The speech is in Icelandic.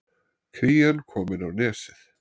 Krían komin á Nesið